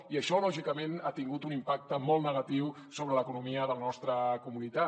i això lògicament ha tingut un impacte molt negatiu sobre l’economia de la nostra comunitat